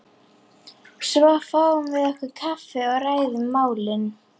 Svo fáum við okkur kaffi og ræðum málin.